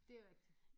Dét rigtigt